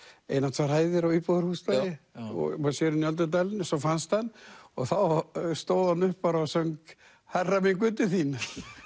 ein eða tvær hæðir á íbúðarhúsnæði og maður sér inn í öldudalinn svo fannst hann og þá stóð hann upp og söng hærra minn Guð til þín